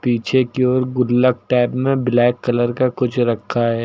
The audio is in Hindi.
पीछे की ओर गुल्लक टाइप में ब्लैक कलर का कुछ रखा है।